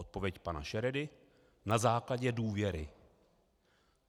Odpověď pana Šeredy: Na základě důvěry.